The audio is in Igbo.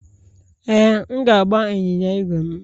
Ee, m ga-agba ịnyịnya ígwè m.